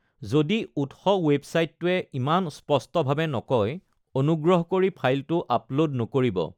যদি উৎস ৱেবছাইটটোৱে ইমান স্পষ্টভাৱে নকয়, অনুগ্ৰহ কৰি ফাইলটো আপলোড নকৰিব।